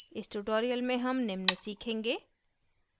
इस tutorial में हम निम्न सीखेंगे